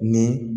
Ni